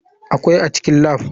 Akwai a cikin lab.